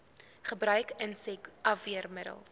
gebruik insek afweermiddels